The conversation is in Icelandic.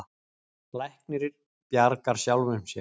Læknir bjargar sjálfum sér.